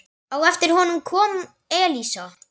Á eftir honum kom Elísa.